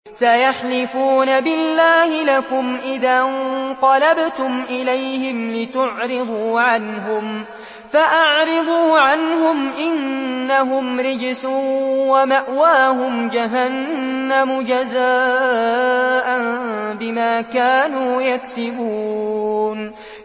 سَيَحْلِفُونَ بِاللَّهِ لَكُمْ إِذَا انقَلَبْتُمْ إِلَيْهِمْ لِتُعْرِضُوا عَنْهُمْ ۖ فَأَعْرِضُوا عَنْهُمْ ۖ إِنَّهُمْ رِجْسٌ ۖ وَمَأْوَاهُمْ جَهَنَّمُ جَزَاءً بِمَا كَانُوا يَكْسِبُونَ